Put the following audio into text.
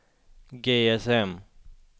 GSM